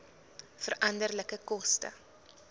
veranderlike koste